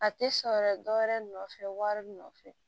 A tɛ sɔn yɛrɛ dɔwɛrɛ nɔfɛ wari nɔfɛ